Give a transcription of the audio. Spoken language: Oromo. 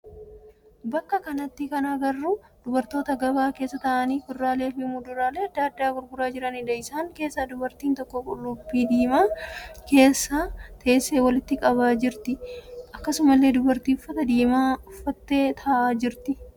Bakka kanatti kan arginu dubartoota gabaa keessa taa'anii kuduraalee fi muduraalee adda addaa gurguraa jiraniidha. Isaan keessaa dubartiin tokko qullubbii diimaa keessa teessee walitti qabaa jirti. Akkasumallee dubartiin uffata diimaa uffattee taa'aa jirti.